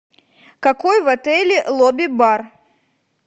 какой в отеле лобби бар